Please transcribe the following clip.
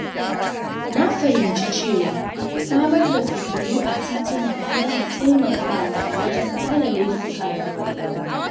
Na fahimci cewa samar da fitilu a tituna yana taimakawa wajen hana laifuka da fargaba.